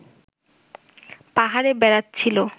পাহাড়ে বেড়াচ্ছিল